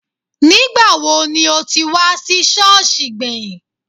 Nígbàwo ni o ti wá sí Sọ́ọ̀sì gbẹ̀yìn?